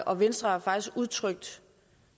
og venstre faktisk udtrykt